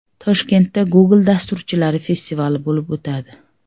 Toshkentda Google dasturchilari festivali bo‘lib o‘tadi.